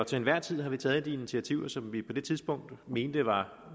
til enhver tid har vi taget de initiativer som vi på det tidspunkt mente var